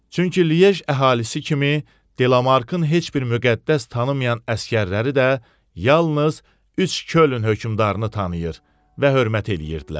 Çünki Liej əhalisi kimi Delamarkın heç bir müqəddəs tanımayan əsgərləri də yalnız üç Kölün hökmdarını tanıyır və hörmət eləyirdilər.